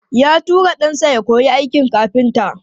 Ya tura ɗansa ya koyi aikin kafinta.